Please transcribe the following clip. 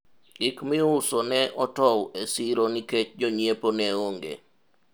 gik miuso ne otow e siro nikech jonyiepo ne onge